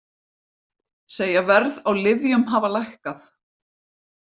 Segja verð á lyfjum hafa lækkað